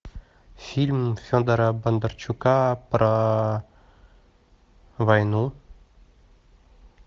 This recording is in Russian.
фильм федора бондарчука про войну